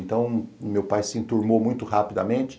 Então, o meu pai se enturmou muito rapidamente.